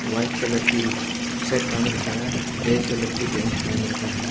White colour की shirt पहन रखा है। रेड कलर की पेंट पहन रखा है।